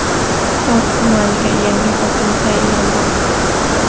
Kitob tumaniga yangi hokim tayinlandi.